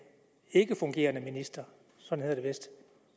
ikkefungerende minister sådan hedder det vist